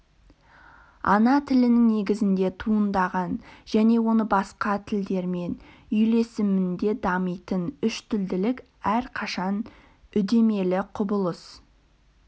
ана тілінің негізінде туындаған және оның басқа тілдермен үйлесімінде дамитын үштілділік әрқашан үдемелі құбылыс